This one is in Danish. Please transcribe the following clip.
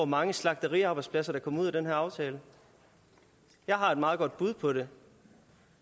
mange slagteriarbejdspladser der kommer ud af den her aftale jeg har et meget godt bud på det